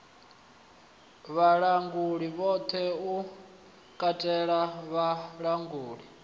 vhalanguli vhoṱhe u katela vhalanguli